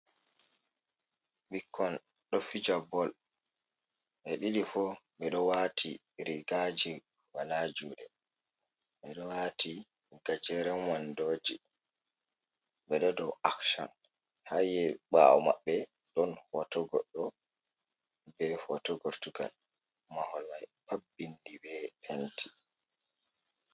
Ɓikkon ɗo fija bol, ɓe ɗiɗi fu mi ɗo wati rigaji wala juɗe, ɓeɗo wati gajeren wandoji, ɓeɗo nde akshon haye ɓawo maɓɓe ɗon hoto goɗɗo be hoto gortugal maholmai ɗo vindi be penti.